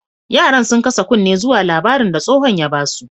Yaran, sun kasa kunne zuwa labarin da stohon ya ba su.